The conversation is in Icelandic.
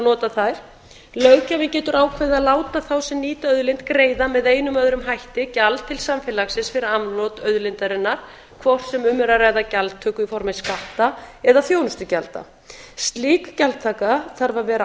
nota þær löggjafinn getur ákveðið að láta þá sem nýta auðlind greiða með einum eða öðrum hætti gjald til samfélagsins fyrir afnot auðlindarinnar hvort sem um er að ræða gjaldtöku í formi skatta eða þjónustugjalda slík gjaldtaka þarf að vera